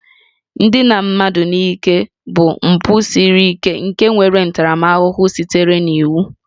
Ndina mmadụ n'ike bụ mpụ siri ike nke nwere ntaramahụhụ sitere n'iwu